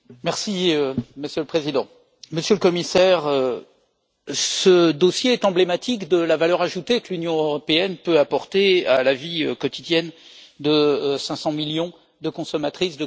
Monsieur le Président, Monsieur le Commissaire, ce dossier est emblématique de la valeur ajoutée que l'Union européenne peut apporter à la vie quotidienne de 500 millions de consommatrices et de consommateurs.